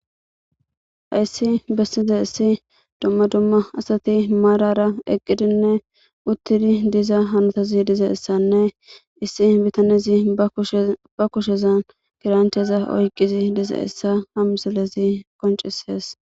Hayssi bessizayssi dumma dumma asati maarara eeqidinne uuttidii diza hanotazii dizaysanne issi biittanezii ba kushshezan gawunteza oyqidi dizayssanne hessa ha misilezi qonccises